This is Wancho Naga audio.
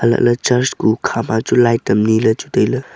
halah ley church kuh hukha ma chu light am ni ley chu tai ley.